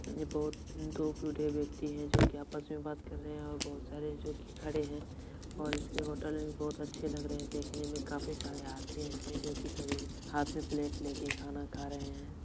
यहा बहुत दो बुढे व्यक्ति हैं जो आपस में बात कर रहे हैं और बहुत सारी जो की खड़े हैं और उसकी होटल भी बहुत अच्छे लग रहे हैं देखने में काफी सारे आदमी इसमें जो की करीब हाथ में प्लेट लेकर खाना खा रहे हैं ।